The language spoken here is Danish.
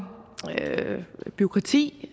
bureaukrati